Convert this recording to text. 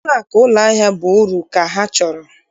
Ụlọakụ ụlọahịa bụ uru ka ha chọrọ.